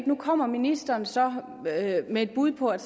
nu kommer ministeren så med et bud på at